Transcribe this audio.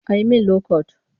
A yi min lokot